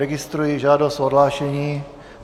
Registruji žádost o odhlášení.